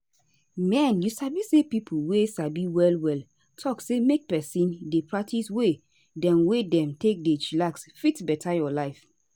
mehn you sabi say pipo wey sabi well well talk say make peson dey practice way dem wey dem take dey chillax fit beta your life